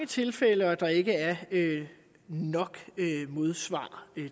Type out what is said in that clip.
tilfælde og der ikke er nok modsvar